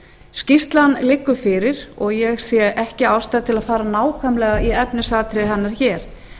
skýrslan liggur fyrir og ég sé ekki ástæðu til að fara nákvæmlega í efnisatriði hennar hér